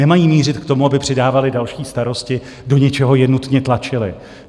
Nemají mířit k tomu, aby přidávaly další starosti, do něčeho je nutně tlačily.